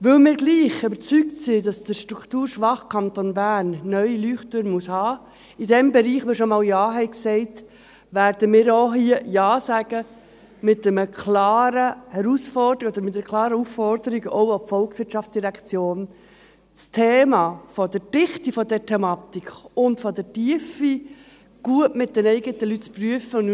Weil wir dennoch überzeugt sind, dass der strukturschwache Kanton Bern neue Leuchttürme haben muss, in einem Bereich, zu dem wir schon einmal Ja gesagt haben, werden wir auch hier Ja sagen, mit einer klaren Aufforderung, auch an die VOL, dass das Thema in der Dichte der Thematik und der Tiefe mit den eigenen Leuten gut geprüft wird.